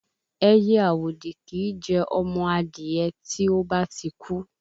Ẹyẹ àwòdì kìí jẹ ọmọ adìyẹ tí ó bá ti kú